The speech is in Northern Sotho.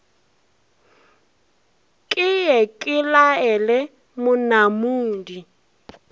ke ye ke laele monamudi